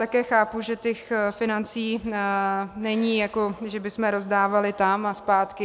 Také chápu, že těch financí není, jako že bychom rozdávali tam a zpátky.